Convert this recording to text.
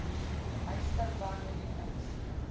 huisver bande lenings